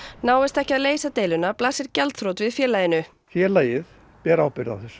náist ekki að leysa deiluna blasir gjaldþrot við félaginu félagið ber ábyrgð á þessu